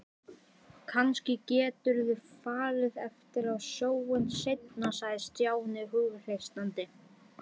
Kannski geturðu farið aftur á sjóinn seinna sagði Stjáni hughreystandi.